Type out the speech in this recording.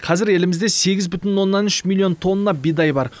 қазір елімізде сегіз бүтін оннан үш миллион тонна бидай бар